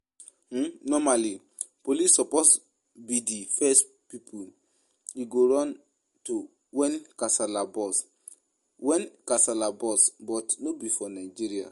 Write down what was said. um Normally police suppose be the first people you go run to when casala burst wen casala burst but no be for Nigeria